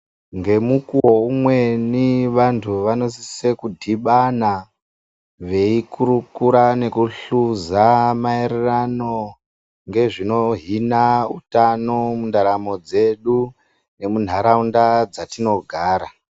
Ngemukuwo umweni vantu vanosise kudhibana veikurukura nekuhluza maererano, ngezvinohina utano mundaramo dzedu, nemunharaunda dzatinogara.